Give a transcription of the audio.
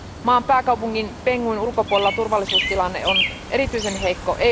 Maan pääkaupungin Banguin ulkopuolella turvallisuustilanne on erityisen heikko.